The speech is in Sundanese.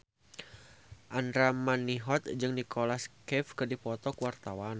Andra Manihot jeung Nicholas Cafe keur dipoto ku wartawan